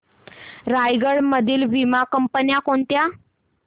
रायगड मधील वीमा कंपन्या कोणत्या